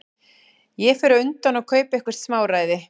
Ég fer á undan og kaupi eitthvert smáræði.